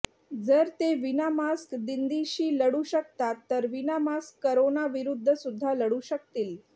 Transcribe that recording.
जर ते विना मास्क दिदिंशी लढू शकतात तर विना मास्क करोना विरुध्द सुद्धा लढू शकतील